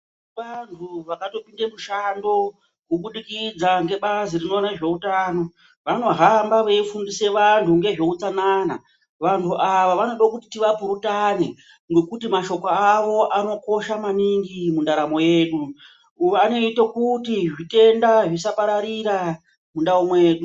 Tine vantu vakatopinde mushando kubudikidza ngebazi rinoona ngezveutano. Vanohamba veifundisa anhu nezveutsanana. Vanhu ava vanoda kuti tivapurutane ngekuti mashoko avo akakosha maningi mundaramo mwedu. Vanoite kuti zvitenda zvisapararira mundau mwedu.